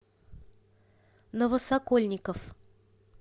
новосокольников